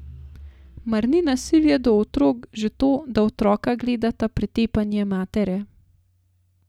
Mar ni nasilje do otrok že to, da otroka gledata pretepanje matere?